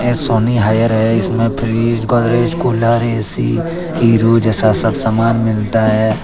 ये Sony Haier हैं। इसमें fridge Godrej cooler AC Hero जैसा सब सामान मिलता है।